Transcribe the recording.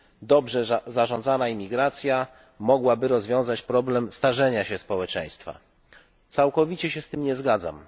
Dobrze zarządzana imigracja mogłaby rozwiązać problem starzenia się społeczeństwa. Całkowicie się z tym nie zgadzam.